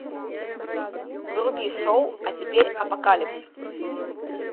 вруби шоу а теперь апокалипсис